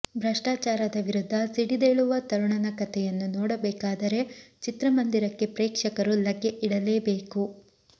ಭ್ರಷ್ಟಾಚಾರದ ವಿರುದ್ಧ ಸಿಡಿದೇಳುವ ತರುಣನ ಕಥೆಯನ್ನು ನೋಡಬೇಕಾದರೆ ಚಿತ್ರಮಂದಿರಕ್ಕೆ ಪ್ರೇಕ್ಷಕರು ಲಗ್ಗೆ ಇಡಲೇಬೇಕು